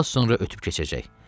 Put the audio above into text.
Az sonra ötüb keçəcək.